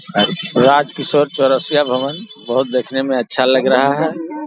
राज किशोर चौरसिया भवन बहुत देखने में अच्छा लग रहा है ।